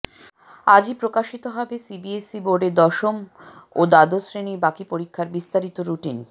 আজই প্রকাশিত হবে সিবিএসই বোর্ডের দশম ও দ্বাদশ শ্রেনীর বাকি পরীক্ষার বিস্তারিত রুটিন